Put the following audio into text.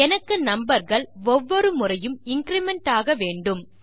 எனக்கு நம்பர் கள் ஒவ்வொரு முறையும் இன்கிரிமெண்ட் ஆக வேண்டும்